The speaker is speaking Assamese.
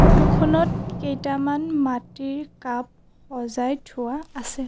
ফটো খনত কেইটামান মাটিৰ কাপ সজাই থোৱা আছে।